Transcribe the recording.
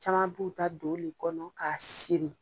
Caman b'u ta don ole kɔnɔ k'a siri.